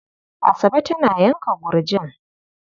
Asabe tana yanka gurjin.